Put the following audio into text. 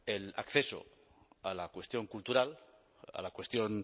el acceso a la cuestión cultural a la cuestión